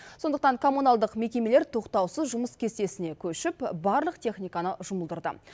сондықтан коммуналдық мекемелер тоқтаусыз жұмыс кестесіне көшіп барлық техниканы жұмылдырды